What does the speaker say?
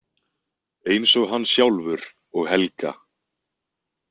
Eins og hann sjálfur og Helga.